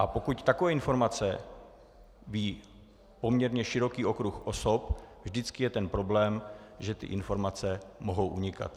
A pokud takové informace ví poměrně široký okruh osob, vždycky je ten problém, že ty informace mohou unikat.